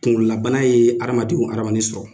Kunkololabana ye hadamaden wo hadamaden sɔrɔ.